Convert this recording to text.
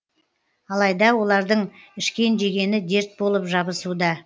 алайда олардың ішкен жегені дерт болып жабысуда